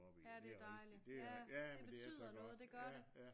Ja det er dejligt ja det betyder noget det gør det